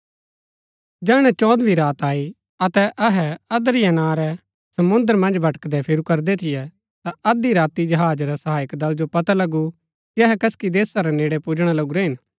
जैहणै चौदहवी रात आई अतै अहै अद्रिया नां रै समुंद्र मन्ज भटकदै फिरू करदै थियै ता अध्धी राती जहाज रा सहायक दल जो पता लगु कि अहै कसकि देशा रै नेड़ै पुजणा लगुरै हिन